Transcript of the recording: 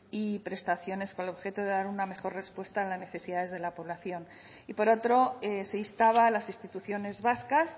y prestaciones con el objeto de dar una mejor respuesta a las necesidades de la población y por otro se instaba a las instituciones vascas